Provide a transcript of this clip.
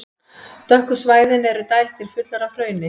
Dökku svæðin eru dældir, fullar af hrauni.